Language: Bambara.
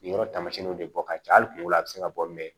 Nin yɔrɔ taamasiyɛnw de bɔ ka ca hali kungo la a bɛ se ka bɔ